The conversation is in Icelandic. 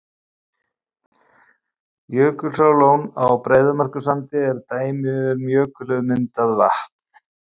Jökulsárlón á Breiðamerkursandi er dæmi um jökulmyndað vatn.